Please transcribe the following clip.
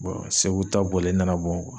segu ta bɔlen n nana bɔ